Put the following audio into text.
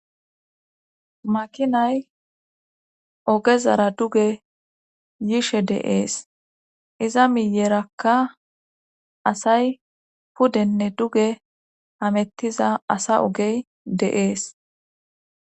Makinay ogezara duge yishe de'ees iza miyerakka asay pudenne duge hamettiza asa ogey de'ees